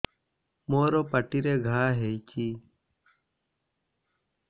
ମୋର ପାଟିରେ ଘା ହେଇଚି